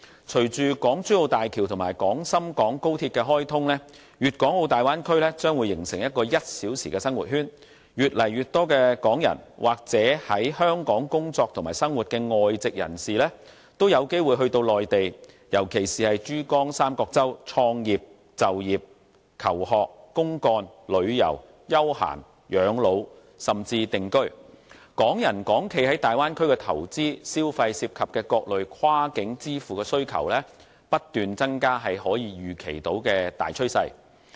隨着港珠澳大橋和廣深港高速鐵路的開通，粵港澳大灣區將會形成"一小時生活圈"，越來越多港人或是在香港工作及生活的外籍人士也有機會到內地，尤其是珠江三角洲創業、就業、求學、公幹、旅遊、休閒、養老，甚至定居，港人港企在大灣區的投資、消費涉及的各類跨境支付需求不斷增加是可以預期的大趨勢。